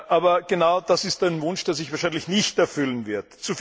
Aber genau das ist ein Wunsch, der sich wahrscheinlich nicht erfüllen wird.